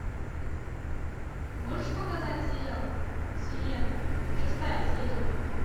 можешь показать сериал сирена шестая серия